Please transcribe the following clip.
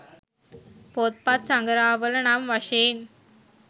පොත්පත් සඟරාවල නම් වශයෙන්